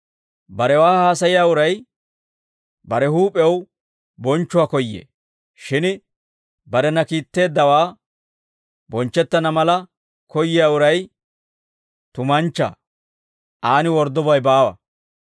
Barewaa haasayiyaa uray bare huup'iyaw bonchchuwaa koyyee; shin barena kiitteeddawe bonchchettana mala koyyiyaa uray tumanchchaa; aan worddobay baawa.